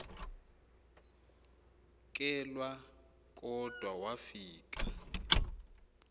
kelwa kodwa wafika